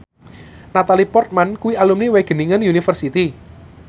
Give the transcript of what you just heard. Natalie Portman kuwi alumni Wageningen University